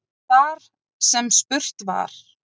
Þar sem spurt var